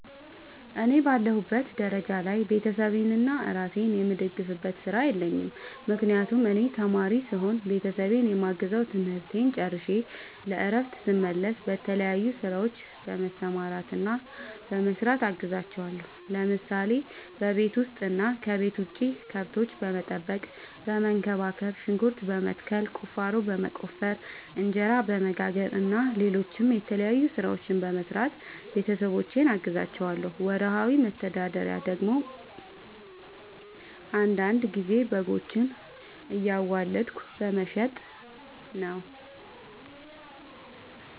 እኔ በአለሁበት ደረጃ ላይ ቤተሰቤንና እራሴን የምደግፍበት ስራ የለኝም። ምክንያቱም እኔ ተማሪ ስሆን ቤተሰቤን የማግዘው ትምህርቴን ጨርሸ ለእረፍት ስመለስ በተለያዩ ስራዎች በመሰማራትና በመስራት አግዛቸዋለሁ። ለምሳሌ፦ በቤት ውስጥ እና ከቤት ውጭ ከብቶች በመጠበቅና በመንከባከብ፣ ሽንኩርት በመትከል፣ ቁፋሮ በመቆፈር፣ እንጀራ በመጋገር እና ሌሎችም የተለያዩ ስራዎችን በመስራት ቤተሰቦቼን አግዛቸዋለሁ። ወርሃዊ መተዳደሪያ ደግሞ አንዳንድ ጊዜ በጎችን እያዋለድኩ በመሸጥ ነው።